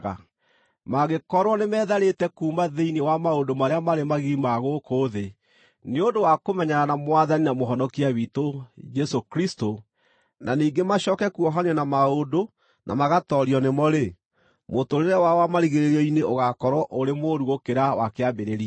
Mangĩkorwo nĩmetharĩte kuuma thĩinĩ wa maũndũ marĩa marĩ magigi ma gũkũ thĩ nĩ ũndũ wa kũmenyana na Mwathani na Mũhonokia witũ, Jesũ Kristũ na ningĩ macooke kuohanio na maũndũ na magatoorio nĩmo-rĩ, mũtũũrĩre wao wa marigĩrĩrio-inĩ ũgaakorwo ũrĩ mũũru gũkĩra wa kĩambĩrĩria.